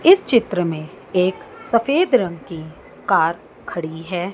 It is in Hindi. इस चित्र में एक सफेद रंग की कार खड़ी है।